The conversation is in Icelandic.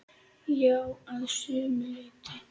Já, að sumu leyti.